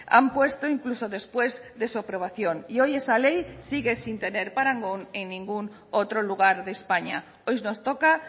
han puesto incluso después de su aprobación y hoy esa ley sigue sin tener parangón en ningún otro lugar de españa hoy nos toca